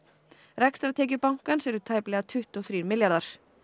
rekstrartekjur bankans eru tæplega tuttugu og þrír milljarðar